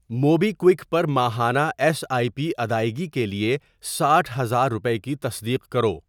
Mobi Quick پر ماہانہ S I P ادائیگی کے لیے ساٹھ ہزار روپے کی تصدیق کرو۔